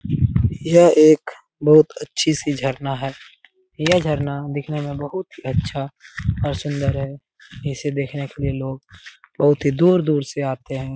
यह एक बहुत अच्छी सी झरना है यह झरना दिखने में बहुत ही अच्छा और सुंदर है इसे देखने के लिए लोग बहुत ही दूर-दूर से आते है।